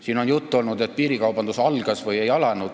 Siin on juttu olnud, millal piirikaubandus algas.